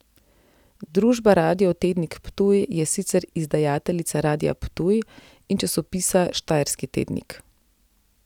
Družba Radio Tednik Ptuj je sicer izdajateljica Radia Ptuj in časopisa Štajerski tednik.